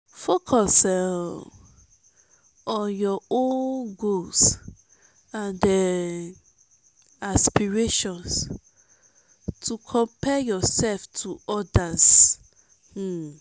focus um on youir own goals and um aspirations no compare yourself to others. um